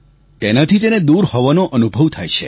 તેનાથી તેને દૂર હોવાનો અનુભવ થાય છે